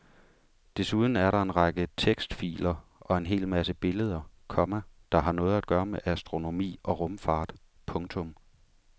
Desuden er der en række tekstfiler og en hel masse billeder, komma der har noget at gøre med astronomi og rumfart. punktum